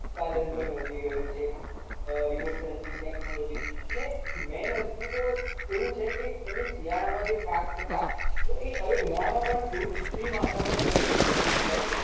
ઉત્પાદન પણ વધી રહ્યું છે અમ remote sensing technology અને main વસ્તુ તો એવું છે કે તમે શિયાળામાં જે પાક થતા તો એ હવે ઉનાળામાં પણ એવું કુત્રિમ વાતાવરણ સર્જીને કરી શકાય છે